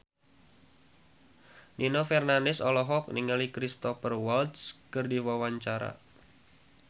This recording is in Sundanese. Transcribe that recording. Nino Fernandez olohok ningali Cristhoper Waltz keur diwawancara